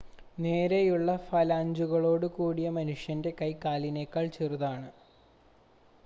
നേരെയുള്ള ഫലാഞ്ചുകളോട് കൂടിയ മനുഷ്യൻ്റെ കൈ കാലിനേക്കാൾ ചെറുതാണ്